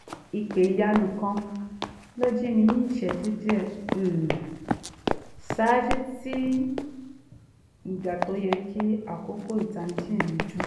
ìpè ìyanu kan ló jí mi ní ìṣẹ́jú díẹ̀ um ṣáájú tí ìgbà tó yẹ kí aago ìtanijí mi dún